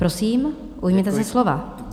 Prosím, ujměte se slova.